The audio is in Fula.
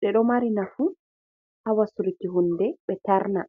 ɓeɗo mari nafu ha wasuki hunde ɓe terna.